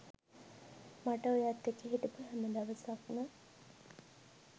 මට ඔයත් එක්ක හිටපු හැම දවසක්ම